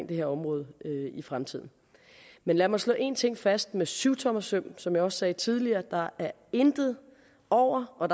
det her område i fremtiden men lad mig slå en ting fast med syvtommersøm som jeg også sagde tidligere er der intet over og